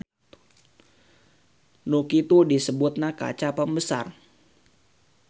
Nu kitu disebutna kaca pembesar.